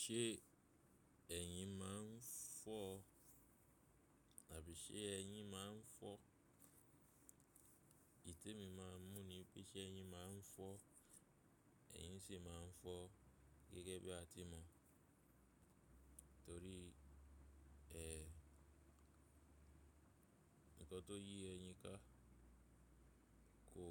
Ṣé ẹ̀yin máa ń fọ́ àbí ṣé ẹ̀yin máa ń fọ́? Èyí tè mi máa mún ni pé ṣé ẹ̀yin máa ń fọ́, ẹ̀yin sì máa ń fọ́ gẹ́gẹ́ bí a ti mọ̀. Nítorí ǹkan tó yí ẹ̀yin ká kò